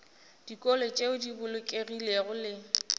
dikolo tšeo di bolokegilego le